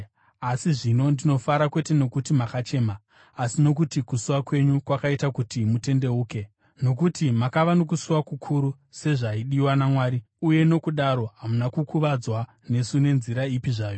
asi zvino ndinofara, kwete nokuti makachema, asi nokuti kusuwa kwenyu kwakaita kuti mutendeuke. Nokuti makava nokusuwa kukuru sezvaidiwa naMwari uye nokudaro hamuna kukuvadzwa nesu nenzira ipi zvayo.